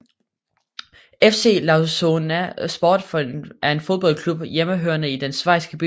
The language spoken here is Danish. FC Lausanne Sport er en fodboldklub hjemmehørende i den schweisiske by Lausanne